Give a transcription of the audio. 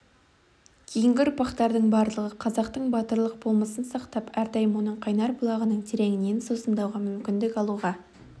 кейінгі ұрпақтардың барлығы қазақтың батырлық болмысын сақтап әрдайым оның қайнар бұлағының тереңінен сусындауға мүмкіндік алуға